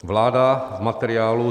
Vláda v materiálu